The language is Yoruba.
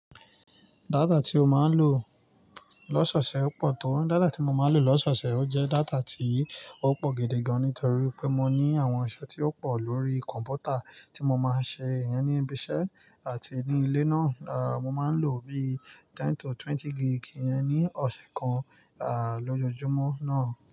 Data ti o máa ń lò lọ́sọ̀ọ̀sẹ̀ ó pọ̀ tó. Data tí mo máa ń lò lọ́sọ̀ọ̀sẹ̀ ó jẹ́ data tí ó pọ̀ gidi gan-an nítorí pé mo ní àwọn ẹ̀ṣẹ̀ tí ó pọ̀ lórí kọ̀m̀pútà tí mo máa ń ṣe ìyẹn ní ibi iṣẹ́ àti ní ilé náà. Mo máa ń lò bí i ten to twenty gig ìyẹn ní ọ̀sẹ̀ kan, à, lójoojúmọ́ náà.